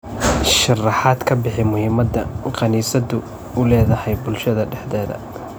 Sharaxaad ka bixi muhiimada kaniisaddu u leedahay bulshada dhexdeeda.